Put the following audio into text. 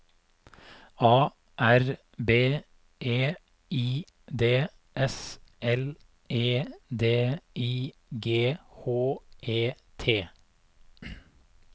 A R B E I D S L E D I G H E T